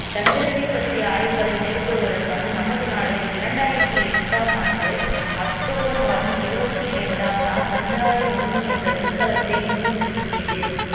சந்திரனைப் பற்றிய ஆய்வுகளை மேற்கொள்வதற்காக நமது நாடு இரண்டாயிரத்தி எட்டாம் ஆண்டு அக்டோபர் மாதம் இருபத்தி இரண்டாம் நாள் சந்திரயான் ஒண்ணு என்ற விண்கலத்தை விண்ணில் செலுத்தியது